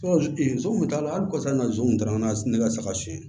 hali kosa nanzun taara n'a ne ka saga sonyɛ